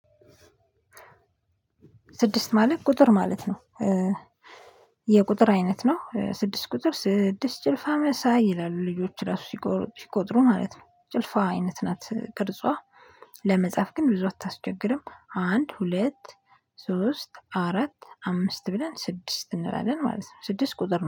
ስድስት ማለት ቁጥር ማለት ነው። የቁጥር አይነት ነው ስድስት ቁጥር ስድስት ጭልፋ መሳይ ይላሉ ልጆች ራሱ ሲቆጥሩ ማለት ነው ጭልፋ አይነት ናት ቅርጿ ለመጻፍ ግን ብዙ አታስቸግርም አንድ ሁለት ሶስት አራት አምስት ብለን ስድስት እንላለን ማለት ነው ስድስት ቁጥር ነው።